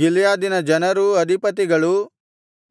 ಗಿಲ್ಯಾದಿನ ಜನರೂ ಅಧಿಪತಿಗಳೂ